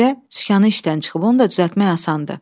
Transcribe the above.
Bircə sükanın işdən çıxıb, onu da düzəltmək asandır.